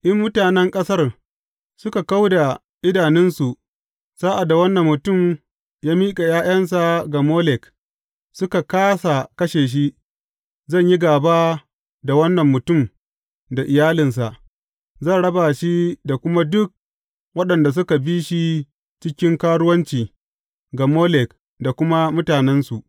In mutanen ƙasar suka kau da idanunsu sa’ad da wannan mutum ya miƙa ’ya’yansa ga Molek, suka kāsa kashe shi, zan yi gāba da wannan mutum da iyalinsa, zan raba shi da kuma duk waɗanda suka bi shi cikin karuwanci ga Molek daga mutanensu.